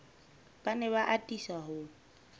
ba ne ba atisa ho